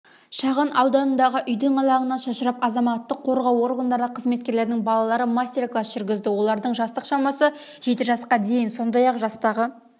шағын ауданындағы үйдің алаңына шашырып азаматтық қорғау органдары қызметкерлерінің балалары мастер-класс жүргізді олардың жастық шамасы жеті жасқа дейін сондай-ақ жастағы